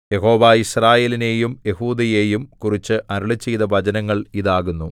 യഹോവ യിസ്രായേലിനെയും യെഹൂദയെയും കുറിച്ച് അരുളിച്ചെയ്ത വചനങ്ങൾ ഇതാകുന്നു